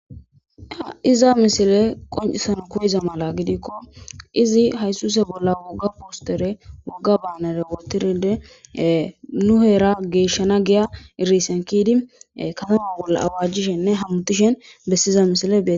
Iza misile qoncisana koyiza mala gidikko izi haysuse bolla wogga poostere wogga baanare wotiride nu heera geeshshana giya irisenkidi katama bolla awaajjishenne hamutishen bessiza misile .